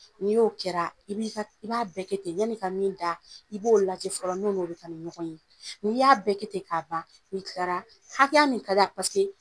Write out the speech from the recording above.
Ni o kɛra , i ba bɛɛ kɛ ten . Yani ka min da i b'o lajɛ fɔlɔ n'o no bi taa ni ɲɔgɔn ye. Ni y'a bɛɛ kɛ ten ka ban, ni kila la hakɛya min ka da